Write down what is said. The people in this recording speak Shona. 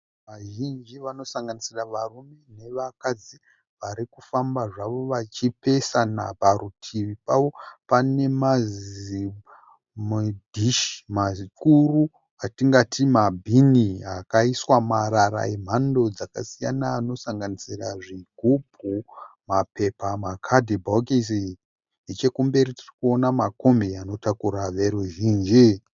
Vazhinji vanosanganisira varume nevakadzi vari kufamba zvavo vachipesana. Parutivi pavo pane mazidhishi mazikuru atingati mabhini akaiswa marara emhando dzakasiyana anosanganisira zvigubhu, mapepa, makadhibhokisi. Nechekumberi tiri kuona makombi anotakura veruzhinji.